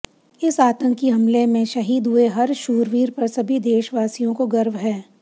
इस आंतकी हमले में शहीद हुए हर शूरवीर पर सभी देशवासियों को गर्व है